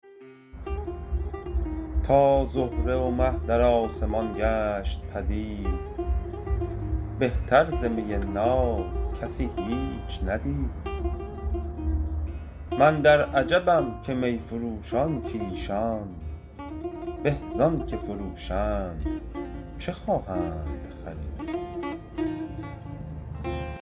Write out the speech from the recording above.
تا زهره و مه در آسمان گشت پدید بهتر ز می ناب کسی هیچ ندید من در عجبم ز می فروشان کایشان به زآنچه فروشند چه خواهند خرید